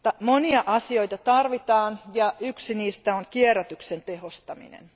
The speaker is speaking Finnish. Monia asioita tarvitaan, ja yksi niistä on kierrätyksen tehostaminen.